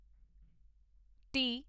T